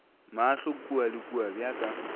mahlo kua le kua bjaka